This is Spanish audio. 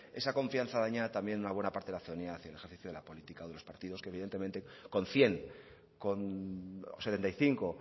esa confianza dañada también en una parte de la ciudadanía hacia el ejercicio de la política de los partidos que evidentemente con cien con setenta y cinco